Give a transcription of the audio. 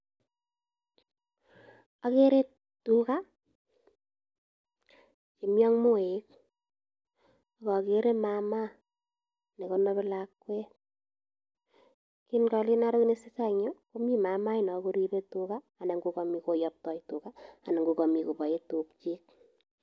Agere tuga chemi ak moek ak ogere mama ne konobi lakwet. En kolen agere kit ne tesetai en yu komi mama inon koribe tuga anan ko komi koyaptai tuga anan ko komi kobae tukyik.